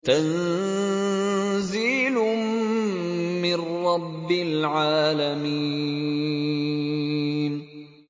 تَنزِيلٌ مِّن رَّبِّ الْعَالَمِينَ